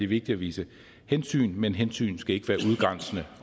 vigtigt at vise hensyn men hensyn skal ikke være udgrænsende